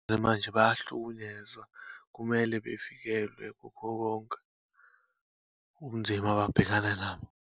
Bemanje bayahlukunyezwa, kumele bavikelwe kukho konke ubunzima ababhekana nabo.